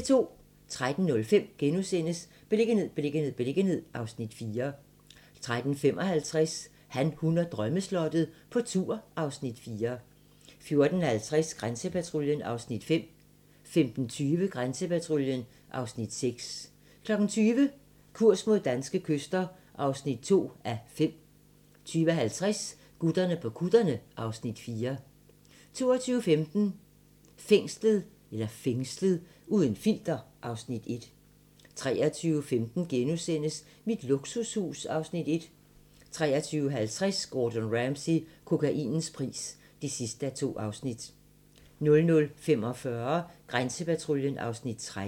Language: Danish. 13:05: Beliggenhed, beliggenhed, beliggenhed (Afs. 4)* 13:55: Han, hun og drømmeslottet - på tur (Afs. 4) 14:50: Grænsepatruljen (Afs. 5) 15:20: Grænsepatruljen (Afs. 6) 20:00: Kurs mod danske kyster (2:5) 20:50: Gutterne på kutterne (Afs. 4) 22:15: Fængslet - uden filter (Afs. 1) 23:15: Mit luksushus (Afs. 1)* 23:50: Gordon Ramsay - kokainens pris (2:2) 00:45: Grænsepatruljen (Afs. 13)